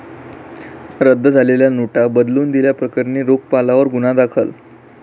रद्द झालेल्या नोटा बदलून दिल्या प्रकरणी रोखपालावर गुन्हा दाखल